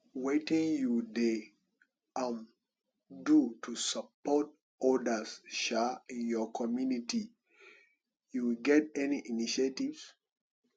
wetin you dey um do to support odas um in your community you get any initiatives